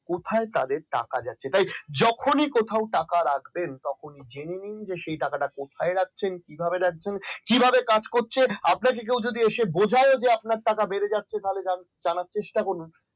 কোথায় তাদের টাকা যাচ্ছে তাই যখনই কোথাও টাকা রাখবেন তখনই সেই টাকাটা কোথায় রাখছেন কিভাবে রাখছেন কিভাবে কাজ করছেন আপনাকে কেউ যদি এসে বোঝাও যে আপনার টাকা বেড়ে যাচ্ছে তাহলে জানার চেষ্টা করুন